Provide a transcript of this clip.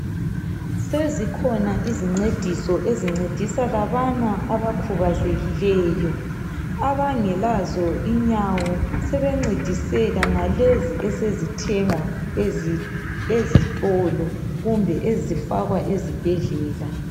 Sezikhona isincediso ezincedisa labana abakhubazekileyo. Abangelazo inyawo sebencediseka ngalezi ezithengwa ezitolo kumbe lezo ezifakwa esibhedlela.